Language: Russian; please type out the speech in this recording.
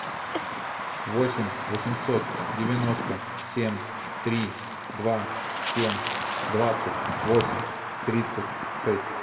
восемь восемьсот девяносто семь три два семь двадцать восемь тридцать шесть